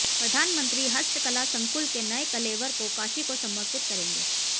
प्रधानमंत्री हस्तकला संकुल के नए कलेवर को काशी को समर्पित करेंगे